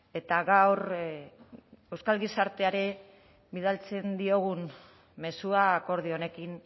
eta gaur euskal gizarteari bidaltzen diogun mezua akordio honekin